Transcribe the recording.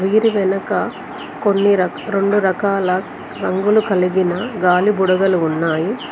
దీని వెనుక కొన్ని రాక రెండు రకాల రంగులు కలిగిన గాలి బుడగలు ఉన్నాయి.